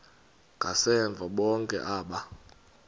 ngasemva bonke aba